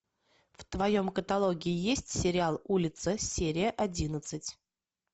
в твоем каталоге есть сериал улица серия одиннадцать